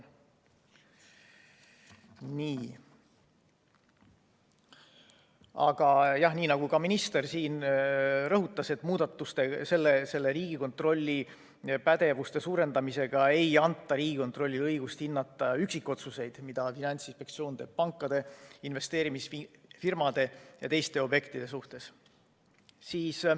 Aga jah, nii nagu ka minister rõhutas, ei anta Riigikontrolli pädevuse suurendamisega Riigikontrollile õigust hinnata üksikotsuseid, mida Finantsinspektsioon teeb pankade, investeerimisfirmade ja teiste objektide kohta.